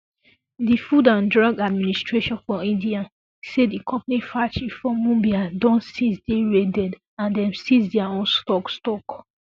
di food and drug administration for india say di company factory for mumbai don since dey raided and dem seize dia whole stock stock